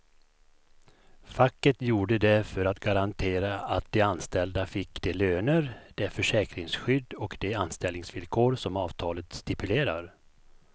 Facket gjorde det för att garantera att de anställda fick de löner, det försäkringsskydd och de anställningsvillkor som avtalet stipulerar.